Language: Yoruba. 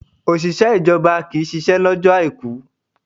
Òṣìṣẹ́ ìjọba kì ń ṣisẹ́ lọ́jọ́ Àìkú.